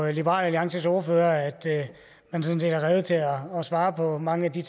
liberal alliances ordfører at man sådan set er rede til at svare på mange af de